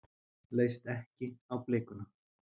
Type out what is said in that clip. Leist ekki á blikuna.